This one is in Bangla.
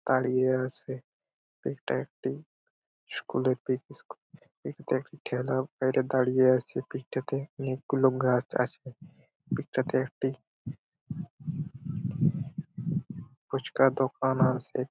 দাঁড়িয়ে আছে এটা একটি স্কুল -এর পিক | এটা একটি ঠেলা বাইরে দাঁড়িয়ে আছে অনেকগুলো পিক -টাতে গাছ আছে | পিক -টাতে একটি ফুচকার দোকান আছে।